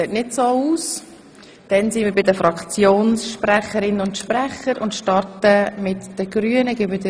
Ich stelle fest, dass dies nicht der Fall ist.